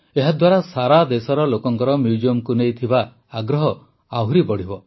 ଏହାଦ୍ୱାରା ସାରାଦେଶର ଲୋକଙ୍କର ମ୍ୟୁଜିୟମକୁ ନେଇ ଆଗ୍ରହ ଆହୁରି ବଢ଼ିବ